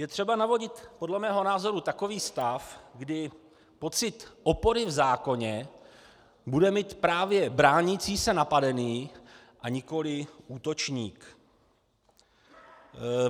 Je třeba navodit podle mého názoru takový stav, kdy pocit opory v zákoně bude mít právě bránící se napadený, a nikoliv útočník.